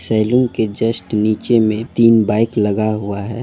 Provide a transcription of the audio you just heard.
Saloon के just निचे में तीन बाइक लघा हुआ है।